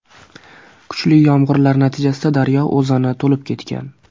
Kuchli yomg‘irlar natijasida daryo o‘zani to‘lib ketgan.